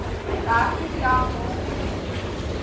dertien diagnostiese studies